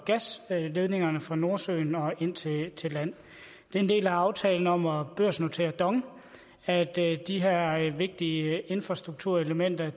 gasledningerne fra nordsøen og ind til til land det er en del af aftalen om at børsnotere dong at de her vigtige infrastrukturelementer